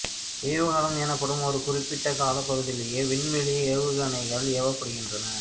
ஏவு காலம் எனப்படும் ஒரு குறிப்பிட்ட காலப் பகுதியிலேயே விண்வெளி ஏவுகணைகள் ஏவப்படுகின்றன